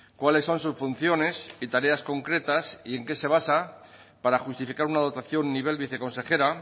cuáles son sus funciones y tareas concretas y en qué se basa para justificar una dotación nivel viceconsejera